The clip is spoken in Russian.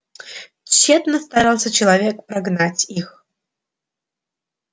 тщетно старался человек прогнать их